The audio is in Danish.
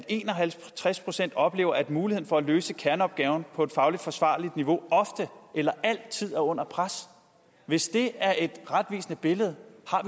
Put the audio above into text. en og halvtreds procent oplever at muligheden for at løse kerneopgaven på et fagligt forsvarligt niveau ofte eller altid er under pres hvis det er et retvisende billede